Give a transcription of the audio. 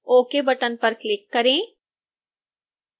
ok button पर click करें